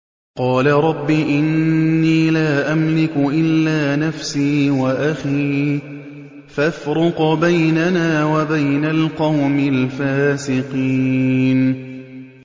قَالَ رَبِّ إِنِّي لَا أَمْلِكُ إِلَّا نَفْسِي وَأَخِي ۖ فَافْرُقْ بَيْنَنَا وَبَيْنَ الْقَوْمِ الْفَاسِقِينَ